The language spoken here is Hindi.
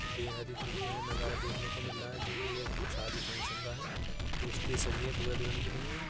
बेहद ही खूबसूरत यह नजरा देखने को मिल रहा है जो की एक शादी फंक्शन का है एक स्टेज सजी है दूल्हा दुल्हन के लिए।